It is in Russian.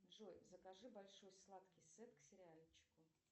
джой закажи большой сладкий сет к сериальчику